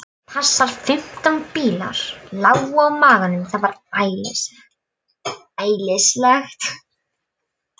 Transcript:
Passar. fimmtán bílar lágu á maganum. það var æðislegt.